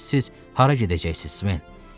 Bəs siz hara gedəcəksiniz, Sven?